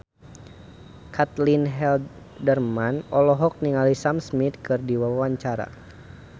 Caitlin Halderman olohok ningali Sam Smith keur diwawancara